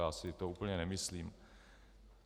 Já si to úplně nemyslím.